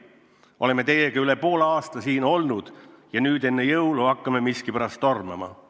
Oleme teiega üle poole aasta siin olnud ja nüüd enne jõule hakkame miskipärast tormama.